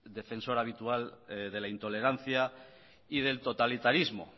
defensor habitual de la intolerancia y del totalitarismo